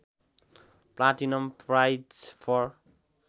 platinum prize for